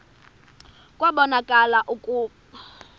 kwabonakala kaloku ukuba